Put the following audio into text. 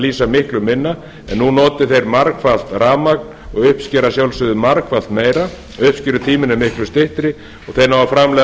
lýsa miklu minna en nú noti þeir margfalt rafmagn og uppskera að sjálfsögðu margfalt meira uppskerutíminn er miklu styttri og þeir ná að framleiða